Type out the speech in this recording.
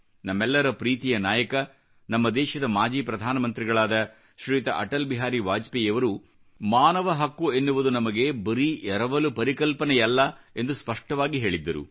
ನಮ್ಮೆಲ್ಲರ ಪ್ರೀತಿಯ ನಾಯಕ ನಮ್ಮ ದೇಶದ ಮಾಜಿ ಪ್ರಧಾನಮಂತ್ರಿಗಳಾದ ಶ್ರೀಯುತ ಅಟಲ್ ಬಿಹಾರಿ ವಾಜಪೇಯಿಯವರು ಮಾನವ ಹಕ್ಕು ಎನ್ನುವುದು ನಮಗೆ ಬರೀ ಎರವಲು ಪರಿಕಲ್ಪನೆಯಲ್ಲ ಎಂದು ಸ್ಪಷ್ಟವಾಗಿ ಹೇಳಿದ್ದರು